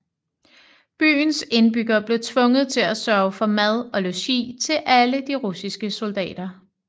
Byens indbyggere blev tvunget til at sørge for mad og logi til alle de russiske soldater